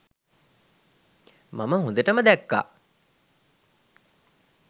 මම හොඳටම දැක්කා.